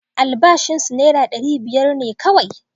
Albashin sa naira ɗari biyar ne kauwai